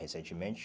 Recentemente.